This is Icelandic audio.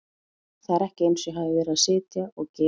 Það er ekki eins og ég hafi verið að sitja og gera ekkert.